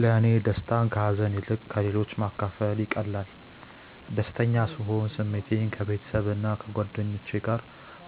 ለእኔ ደስታን ከሀዘን ይልቅ ለሌሎች ማካፈል ይቀላል። ደስተኛ ስሆን ስሜቴን ከቤተሰብና ከጓደኞቼ ጋር